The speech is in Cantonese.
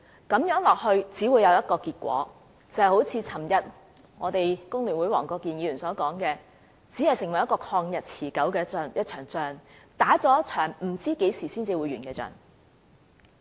如此下去只會有一個結果，就是正如昨天工聯會黃國健議員所說，使它成為了一場曠日持久的仗，是一場不知道何時才會完結的仗。